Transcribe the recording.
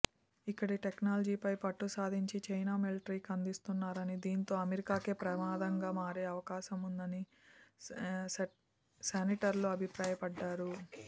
ఇక్కడి టెక్నాలజీపై పట్టు సాధించి చైనా మిలటరీకి అందిస్తున్నారని దీంతో అమెరికాకే ప్రమాదంగా మారే అవకాశం ఉందని సెనేటర్లు అభిప్రాయపడ్డారు